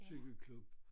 Cykelklub